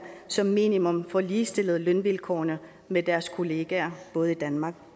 som minimum får ligestillet lønvilkårene med deres kollegaer både i danmark